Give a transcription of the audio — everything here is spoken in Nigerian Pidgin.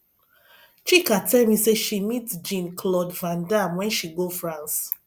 chika tell me say she meet jean claude van dam wen she go france